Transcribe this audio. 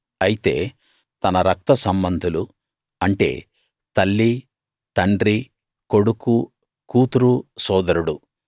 అయితే తన రక్త సంబంధులు అంటే తల్లి తండ్రి కొడుకు కూతురు సోదరుడు